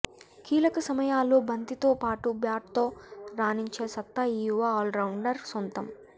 కీలక సమయాల్లో బంతితో పాటు బ్యాట్తో రాణించే సత్తా ఈ యువ ఆల్రౌండర్ సొంతం